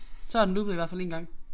Så har den loopet i hvert fald én gang